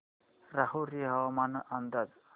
राहुरी हवामान अंदाज